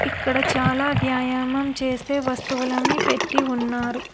ఇక్కడ చాలా వ్యాయామం చేస్తే వస్తువులన్నీ పెట్టి ఉన్నారు.